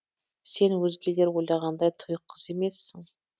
сен өзгелер ойлағандай тұйық қыз емессің